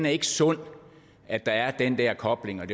ikke sundt at der er den der kobling